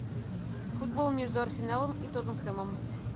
футбол между арсеналом и тоттенхэмом